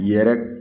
Yɛrɛ